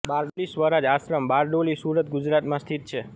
બારડોલી સ્વરાજ આશ્રમ બારડોલી સુરત ગુજરાતમાં સ્થિત છે